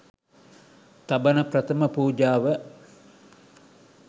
තබන ප්‍රථම පූජාව